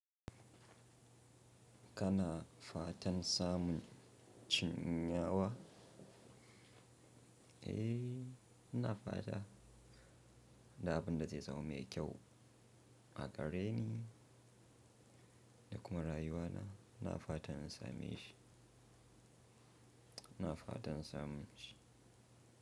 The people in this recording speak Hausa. Kana fatan samun cinya wa? Eh, ina fata. Da abin da zai zama mai kyau a gare ni da kuma rayuwa na. Ina fatan in same shi. Ina fatan in samu shi.